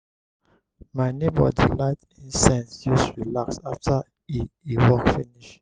my nebor dey light incense use relax after e e work finish.